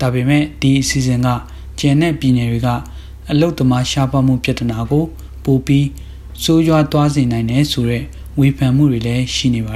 ဒါပေမယ့် ဒီအစီအစဉ်က ကျန်တဲ့ ပြည်နယ်တွေက အလုပ်သမား ရှားပါးမှု ပြသနာကို ပိုပြီး ဆိုးရွားသွားစေနိုင်တယ်ဆိုတဲ့ ဝေဖန်မှုတွေလည်း ရှိနေပါ